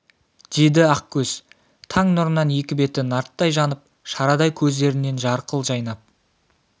деді ақкөз таң нұрынан екі беті нарттай жанып шарадай көздерінен жарқыл жайнап